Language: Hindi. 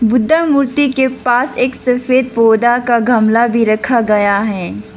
बुद्धा मूर्ति के पास एक सफेद पौधा का गमला भी रखा गया है।